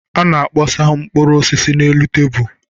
A na-akpọsa mkpụrụ osisi n'elu tebụl.